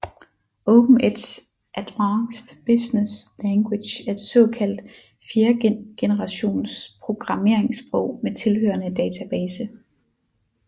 OpenEdge Advanced Business Language er et såkaldt fjerdegenerations programmeringssprog med tilhørende database